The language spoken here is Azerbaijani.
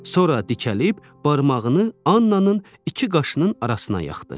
Sonra dikəlib barmağını Annanın iki qaşının arasına yaxdı.